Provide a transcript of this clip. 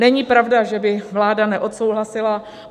Není pravda, že by vláda neodsouhlasila.